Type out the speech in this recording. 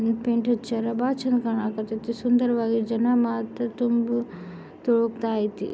Paint ಹಚ್ಚರ ಬಾಲ ಚೆನ್ನಾಗಿ ಕಣಕತೆತಿ ಇದೆ ಸುಂದರವಾಗಿ ಜನ ಮಾತ್ರ ತುಂಬು ತುಳುಕುತಾ ಐತೆ.